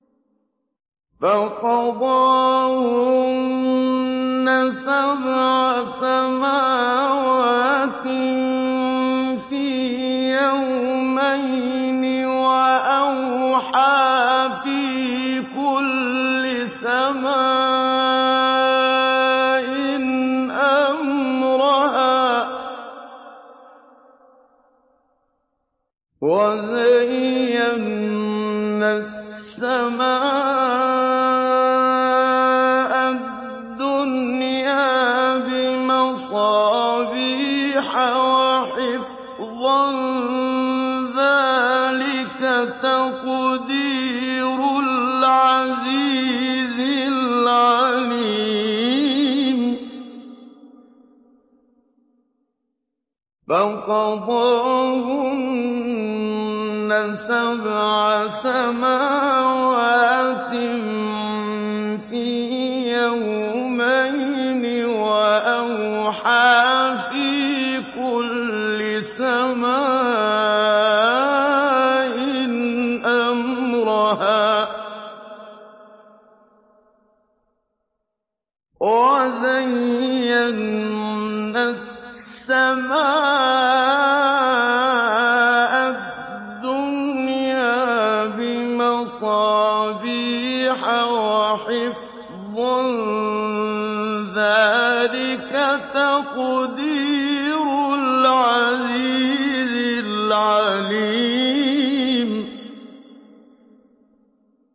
فَقَضَاهُنَّ سَبْعَ سَمَاوَاتٍ فِي يَوْمَيْنِ وَأَوْحَىٰ فِي كُلِّ سَمَاءٍ أَمْرَهَا ۚ وَزَيَّنَّا السَّمَاءَ الدُّنْيَا بِمَصَابِيحَ وَحِفْظًا ۚ ذَٰلِكَ تَقْدِيرُ الْعَزِيزِ الْعَلِيمِ